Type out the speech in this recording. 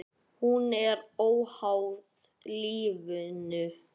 Hún er óháð lífinu.